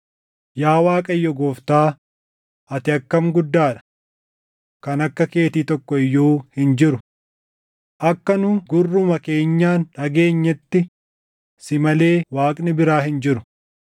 “Yaa Waaqayyo Gooftaa, ati akkam guddaa dha! Kan akka keetii tokko iyyuu hin jiru; akka nu gurruma keenyaan dhageenyetti si malee Waaqni biraa hin jiru.